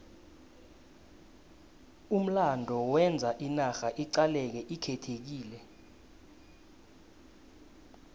umlando wenza inarha iqaleke ikhethekile